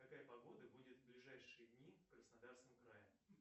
какая погода будет в ближайшие дни в краснодарском крае